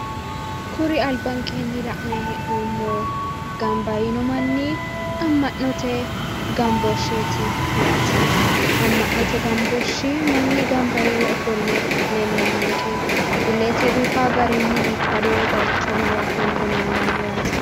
Kuri albankeenni la'nanni hee'noommo gamba yiino manni ama'ma'note gamboohsheeti yaate a'ma'note gambooshshe manni gamba yiino manni leellanni noonke yaate illete biifanno garinni biifado bayicho mare leellanni noonke yaate.